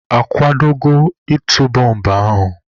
A kwadola ịtụ bọmbụ ahụ?